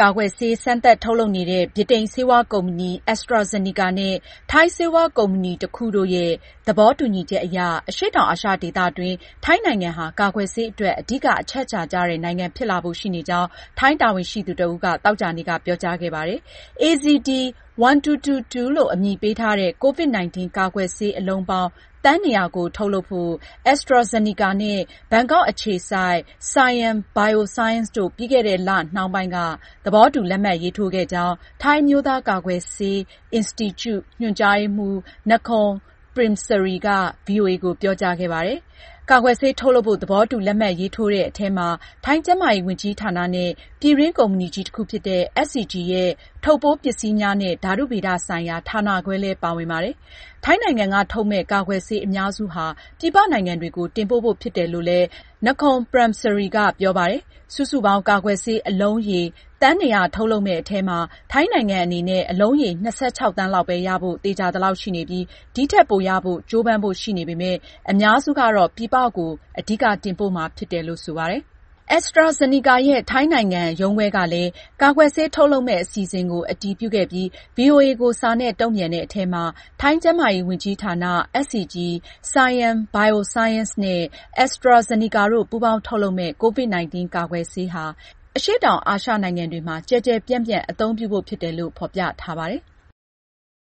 ကာကွယ်ဆေးစမ်းသပ်ထုတ်လုပ်နေတဲ့ ဗြိတိန်ဆေးဝါးကုမ္ပဏီ AstraZeneca နဲ့ ထိုင်းဆေးဝါးကုမ္ပဏီတခုတို့ရဲ့ သဘောတူညီချက်အရ အရှေ့တောင်အာရှဒေသတွင်း ထိုင်းနိုင်ငံဟာ ကာကွယ်ဆေးအတွက် အဓိကအချက်အချာကျတဲ့ နိုင်ငံဖြစ်လာဖို့ရှိနေကြောင်း ထိုင်းတာဝန်ရှိသူတဦးက သောကြာနေ့က ပြောကြားခဲ့ပါတယ်။ AZD1222 လို့အမည်ပေးထားတဲ့ COVID-19 ကာကွယ်ဆေးအလုံးပေါင်း သန်း ၂၀၀ ကို ထုတ်လုပ်ဖို့ AstraZeneca နဲ့ ဘန်ကောက်အခြေစိုက် Siam Bioscience တို့ ပြီးခဲ့တဲ့ လနှောင်းပိုင်းက သဘောတူလက်မှတ်ရေးထိုးခဲ့ကြောင်း ထိုင်းအမျိုးသား ကာကွယ်ဆေး အင်စတီကျူရဲ့ ညွန်ကြားရေးမှူး Nakorn Premsri က ဗွီအိုအေကို ပြောကြားခဲ့ပါတယ်။ ကာကွယ်ဆေးထုတ်လုပ်ဖို့ သဘောတူ လက်မှတ်ရေးထိုးတဲ့အထဲမှာ ထိုင်း ကျန်းမာရေးဝန်ကြီးဌာနနဲ့ ပြည်တွင်းကုမ္ပဏီကြီးတခုဖြစ်တဲ့ SCG ရဲ့ ထုတ်ပိုးပစ္စည်းများနဲ့ ဓါတုဗေဒဆိုင်ရာ ဌာနခွဲလည်း ပါဝင်ပါတယ်။ ထိုင်းနိုင်ငံက ထုတ်မယ့် ကာကွယ်ဆေးအများစုဟာ ပြည်ပနိုင်ငံတွေကို တင်ပို့ ဖို့ဖြစ်တယ်လို့လည်း Nakorn Premsri ကပြောပါတယ်။ စုစုပေါင်း ကာကွယ်ဆေးအလုံးရေ သန်း၂၀၀ ထုတ်လုပ်မယ့်အထဲမှာ ထိုင်းနိုင်ငံအနေနဲ့ အလုံးရေ ၂၆ သန်းလောက်ပဲရဖို့ သေချာသလောက်ရှိနေပြီး ဒီထက်ပိုရဖို့ ကြိုးပမ်းဖို့ ရှိနေပေမယ့် အများစုကတော့ ပြည်ပကို အဓိက တင်ပို့မှာဖြစ်တယ်လို့ဆိုပါတယ်။ AstraZeneca ရဲ့ထိုင်းနိုင်ငံ ရုံးခွဲကလည်း ကာကွယ်ဆေးထုတ်လုပ်မယ့် အစီအစဉ်ကို အတည်ပြုခဲ့ပြီး ဗွီအိုအေကို စာနဲ့ တုန့်ပြန်ထားတဲ့အထဲမှာ-ထိုင်းကျန်းမာရေးဝန်ကြီးဌာန၊ SCG၊ Siam Bioscience နဲ့ AstraZeneca တို့ပူးပေါင်းထုတ်လုပ်မယ့် COVID-19 ကာကွယ်ဆေးဟာ အရှေ့တောင်အာရှ နိုင်ငံတွေမှာ ကျယ်ကျယ်ပြန့်ပြန့်အသုံးပြုဖို့ ဖြစ်တယ်လို့ ဖေါ်ပြထားပါတယ်။